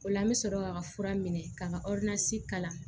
O la an bɛ sɔrɔ k'a ka fura minɛ k'a ka kalan